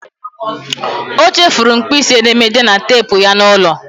O chefuru mkpịsị edemede na teepu ya n'ụlọ.